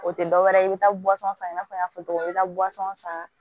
O tɛ dɔwɛrɛ ye i bɛ taa san i n'a fɔ n y'a fɔ cogo min i bɛ taa san